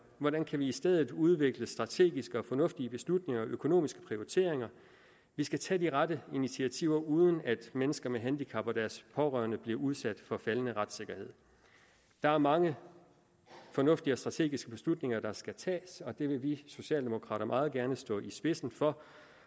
hvordan kan vi i stedet udvikle strategiske fornuftige beslutninger og foretage økonomiske prioriteringer vi skal tage de rette initiativer uden at mennesker med handicap og deres pårørende bliver udsat for faldende retssikkerhed der er mange fornuftige og strategiske beslutninger der skal tages og det vil vi socialdemokrater meget gerne stå i spidsen for